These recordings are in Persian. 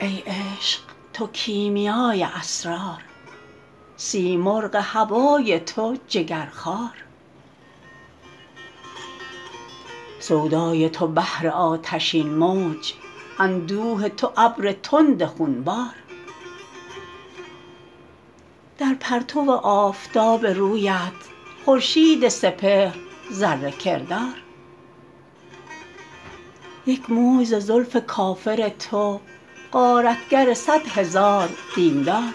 ای عشق تو کیمیای اسرار سیمرغ هوای تو جگرخوار سودای تو بحر آتشین موج اندوه تو ابر تند خون بار در پرتو آفتاب رویت خورشید سپهر ذره کردار یک موی ز زلف کافر تو غارتگر صد هزار دین دار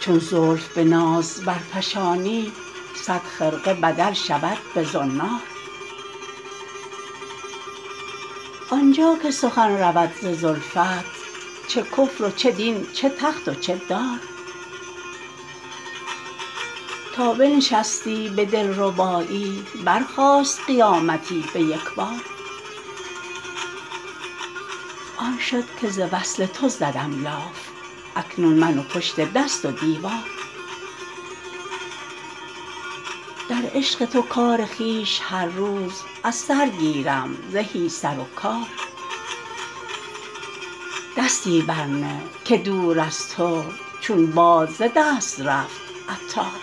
چون زلف به ناز برفشانی صد خرقه بدل شود به زنار آنجا که سخن رود ز زلفت چه کفر و چه دین چه تخت و چه دار تا بنشستی به دلربایی برخاست قیامتی به یکبار آن شد که ز وصل تو زدم لاف اکنون من و پشت دست و دیوار در عشق تو کار خویش هر روز از سر گیرم زهی سر و کار دستی بر نه که دور از تو چون باد ز دست رفت عطار